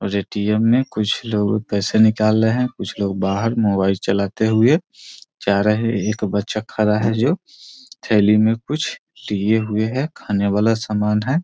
और ए.टी.एम. में कुछ लोग पैसे निकाल रहें हैं। कुछ लोग बाहर मोबाइल चलाते हुए जा रहें हैं। एक बच्चा खड़ा है जो थैली में कुछ लिए हुए हैं खाने वाला सामान है।